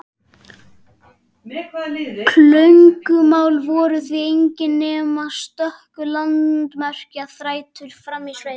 Klögumál voru því engin nema stöku landamerkjaþrætur frammi í sveitum.